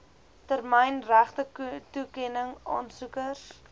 termyn regtetoekenning aansoekers